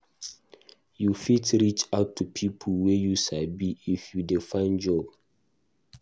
You fit reach out to pipo wey you sabi if you dey find job.